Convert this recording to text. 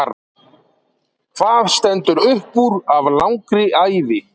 Hvað stendur uppúr af langri ævi?